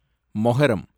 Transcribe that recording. Muharram